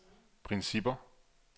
principper